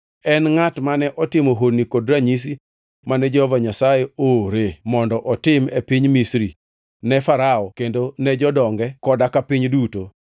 En ngʼat mane otimo honni kod ranyisi mane Jehova Nyasaye oore mondo otim e piny Misri ne Farao kendo ne jodonge koda ka piny duto.